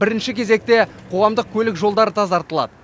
бірінші кезекте қоғамдық көлік жолдары тазартылады